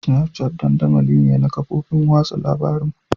Snapchat dandamali ne na kafofin watsa labarun.